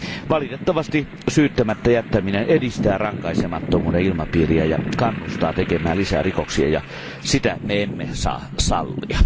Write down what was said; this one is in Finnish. Valitettavasti syyttämättä jättäminen edistää rankaisemattomuuden ilmapiiriä ja kannustaa tekemään lisää rikoksia, ja sitä me emme saa sallia.